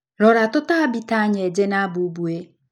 Rora tũtambi ta nyenje na bũmbũĩ.